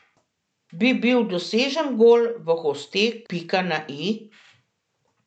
Bi bil dosežen gol v gosteh pika na i?